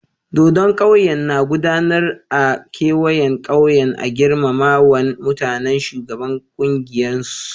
Dodon ƙauyen na gudanar a kewayen ƙauyen a girmamawan mutuwan shugaban kungiyan su.